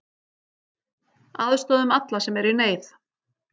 Aðstoðum alla sem eru í neyð.